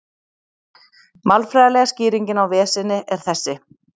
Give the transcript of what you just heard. Málfræðilega skýringin á veseni er þessi: